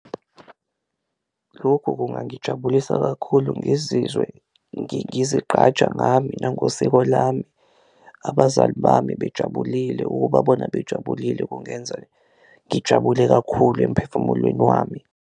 Lokhu kungangijabulisa kakhulu ngizizwe ngizigqaja ngami nangosiko lami, abazali bami bejabulile, ukubabona bejabulile kungenza ngijabule kakhulu emphefumulweni wami.